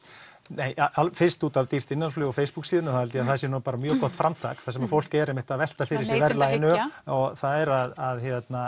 nei fyrst út af dýrt innanlandsflug Facebook síðunni þá held ég að það sé nú bara mjög gott framtak þar sem fólk er einmitt að velta fyrir sér verðlaginu það er að